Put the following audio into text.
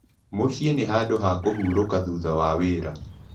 Mũciĩ nĩ handũ ha kũhurũka thutha wa wĩra.